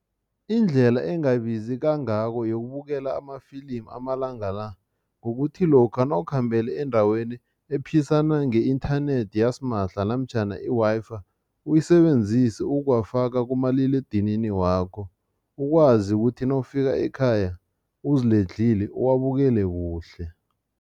Indlela engabizi kangako yokubukela amafilimu amalanga la, kukuthi lokha nawukhambele endaweni ephisana nge-inthanethi yasimahla namtjhana i-Wi-Fi uyisebenzise ukuwafaka kumaliledinini wakho, ukwazi ukuthi nawufika ekhaya, uziledlhile, uwabukele kuhle.